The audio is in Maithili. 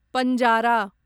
पंजारा